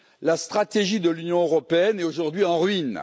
La stratégie de l'Union européenne est aujourd'hui en ruine.